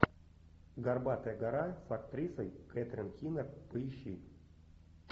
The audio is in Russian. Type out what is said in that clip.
горбатая гора с актрисой кэтрин кинер поищи